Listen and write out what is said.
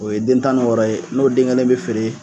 O ye den tan ni wɔɔrɔ ye n'o den kelen bɛ feere.